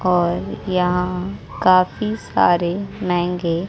और यहां काफी सारे महंगे--